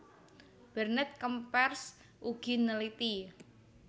Bernet Kempers ugi neliti